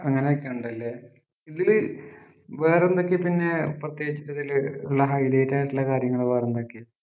അങ്ങനൊക്കെ ഉണ്ടല്ലേ ഇതില് വേറെന്തൊക്കെയാ പിന്നെ പ്രത്യേകിച്ച് ഇതില് ഒള്ള high light ആയിട്ടൊള്ള കാര്യങ്ങള് വേറെന്തൊക്കെയാ